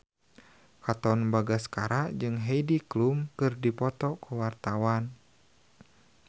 Katon Bagaskara jeung Heidi Klum keur dipoto ku wartawan